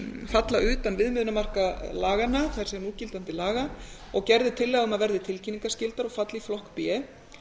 falla utan viðmiðunarmarka laganna það er núgildandi laga og gerð er tillaga um að verði tilkynningarskyldar og falli í flokk b